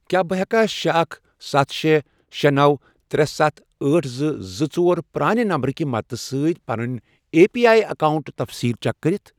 کیٛاہ بہٕ ہیٚکا شے، اکھ، ستھ، شے، شے، نوَ، ترے، ستھَ، أٹھ، زٕ، زٕ، ژور، پرانہِ نمبر کہِ مدد سۭتۍ پٔننی اے پی واٮٔی اکاؤنٹُک تفصیٖل چیک کٔرِتھ؟